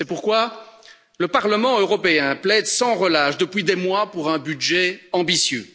C'est pourquoi le Parlement européen plaide sans relâche depuis des mois pour un budget ambitieux.